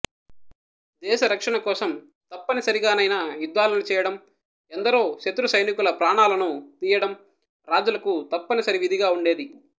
దేశ రక్షణ కోసం తప్పనిసరిగా నైనా యుద్ధాలను చేయడం ఎందరో శత్రుసైనికుల ప్రాణాలను తీయడం రాజులకు తప్పనిసరి విధిగా వుండేది